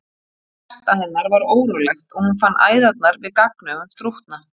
Hjarta hennar var órólegt og hún fann æðarnar við gagnaugun þrútna.